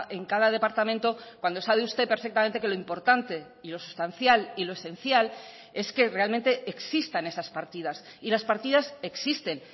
en cada departamento cuando sabe usted perfectamente que lo importante y lo sustancial y lo esencial es que realmente existan esas partidas y las partidas existen